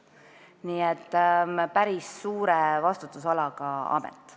Nii et see on päris suure vastutusalaga amet.